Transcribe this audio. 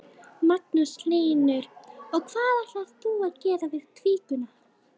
Magnús Hlynur: Og hvað ætlar þú að gera við kvíguna?